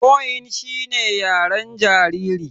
Cooing shine yaren jariri.